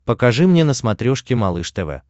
покажи мне на смотрешке малыш тв